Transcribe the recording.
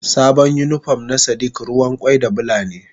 Sabon unipon na sadiq ruwan kwai da Bula ne.